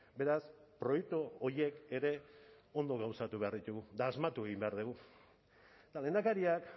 beraz proiektu horiek ere ondo gauzatu behar ditugu eta asmatu egin behar dugu eta lehendakariak